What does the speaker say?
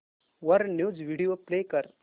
वर news video play कर